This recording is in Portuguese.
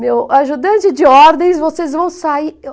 Meu ajudante de ordens, vocês vão sair. Eu